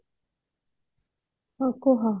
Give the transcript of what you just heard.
ହଁ କୁହ